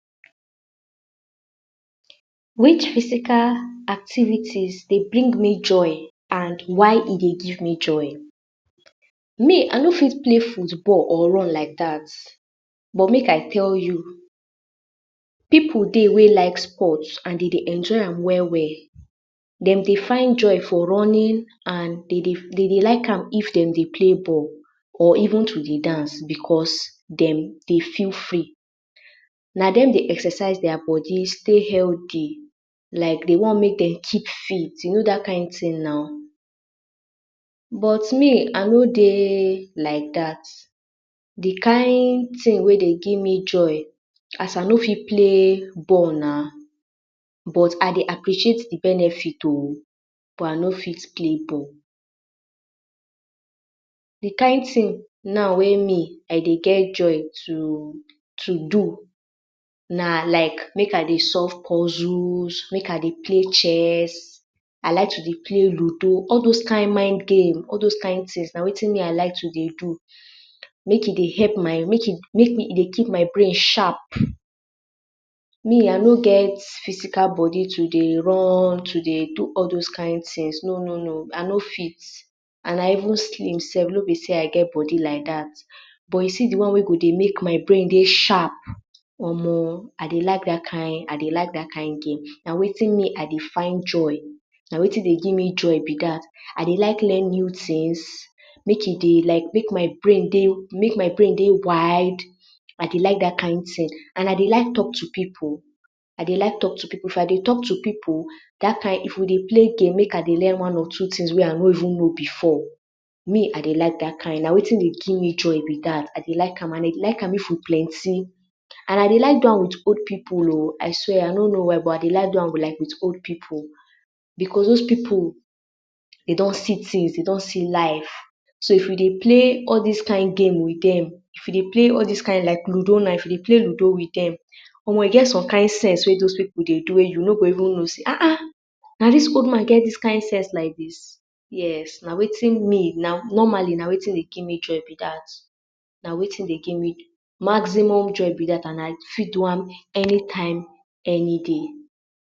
Which physical activity dey bring you joy and why e dey give you joy? Me I no fit play football or run like that bit make I tell you pipu dey wey like sports and dem dey enjoy am well well dem dey find joy for running and dem dey like m if dem dey play ball or even to dey dance because dem dey feel free na dem dey exercise their body stay healthy like dey wan make dem keep fit nau you know that kind ting nau but me I no dey like that the kind ting wey dey give me joy as I no fit play football na but I dey appreciate the benefit of but I no fit okay ball the kind ting now wey me I dey get joy to do na like make I dey solve puzzle make I dey play chess I like to dey play ludo all those kind mind games all those kind tings eye I like to dey do make e dey keep my brain sharp me I no get physical body to dey run to dey do all those kind tings no no no I no fit and I even slim sef no be say I get body like that but you see the one why go dey make my brain sharp Omo I dey like that kind I dey like e that kind game na wetin me I dey find joy na wetin dey give me joy be that I dey like learn new tings e dey like make my Brian dey make my brain dey wide I dey like that kind ting and I dey like talk to pipu I dey like talk to pipu of I dey talk to pipu that time If I dey make I learn one or two tings wey I no even know before me I dey like that kind na wetin dey give me joy be that I dey like am if we plenty and I dey like do am with old Pipu oo I swear I no know why but I dey like do am with old pipu because those pipu dey don see tings dey don see life so if we dey play all dis kind game with the like ludo if you dey okay ludo with dem now mo e get some kind sense wey those pipu dey do wey you no go even know aha na dis old man get dis kind sense like dis na wetin me normally na wetin dey give me joy be that na wetin dey give me maximum joy and I fit do am anytime anyday.